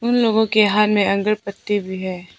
उन लोगों के हाथ में अगरबत्ती भी है।